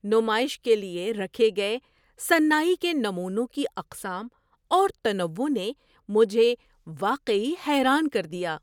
نمائش کے لیے رکھے گئے صناعی کے نمونوں کی اقسام اور تنوع نے مجھے واقعی حیران کر دیا۔